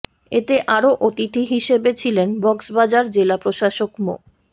এতে আরও অতিথি হিসেবে ছিলেন কক্সবাজার জেলা প্রশাসক মো